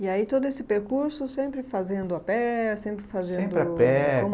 E aí todo esse percurso sempre fazendo a pé, sempre fazendo... Sempre a pé. Como